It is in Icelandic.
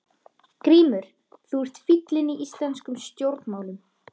GRÍMUR: Þú ert fíllinn í íslenskum stjórnmálum!